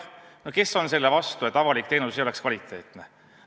No kes on selle vastu, et avalik teenus oleks kvaliteetne?